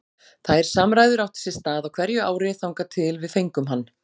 Þær samræður áttu sér stað á hverju ári þangað til að við fengum hann.